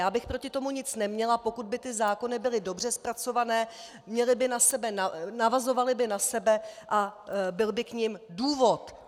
Já bych proti tomu nic neměla, pokud by ty zákony byly dobře zpracované, navazovaly by na sebe a byl by k nim důvod.